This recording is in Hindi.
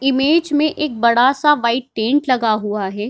इमेज में एक बड़ा-सा व्हाइट टेंट लगा हुआ है।